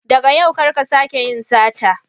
Daga yau kar ka sake yin sata.